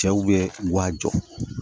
Cɛw bɛ wa jɔ